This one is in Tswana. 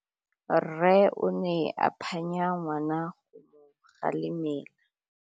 Rre o ne a phanya ngwana go mo galemela.